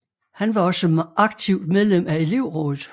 Han var også aktivt medlem af elevrådet